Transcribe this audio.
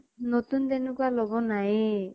নতুন তেনেকুৱা লব নাইয়ে।